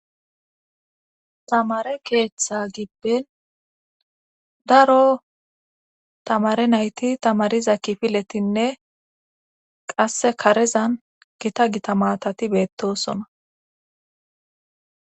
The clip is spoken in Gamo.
tamare keeththa gibben daro tamare nayti tamariza kifiletinne qasse karezan gita gita matati beettosona